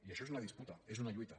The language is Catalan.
i això és una disputa és una lluita